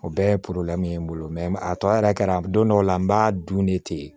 O bɛɛ ye n bolo a tɔ yɛrɛ kɛra don dɔw la n b'a dun de ten